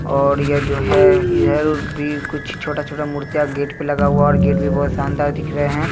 और यह जो है इधर भी कुछ छोटा-छोटा मुर्तियाँ गेट पे लगा हुआ और गेट भी बहुत शानदार दिख रहें हैं।